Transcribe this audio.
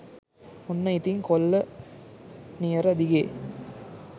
ඔන්න ඉතින් කොල්ල නියර දිගේ